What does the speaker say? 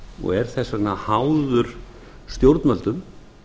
og er þess vegna háður stjórnvöldum